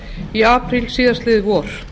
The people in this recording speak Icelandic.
í apríl síðastliðið vor